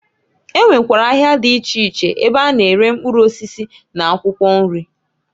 E nwekwara ahịa dị iche iche ebe a na-ere mkpụrụ osisi n'akwụkwọ nri.